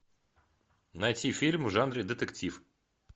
найти фильм в жанре детектив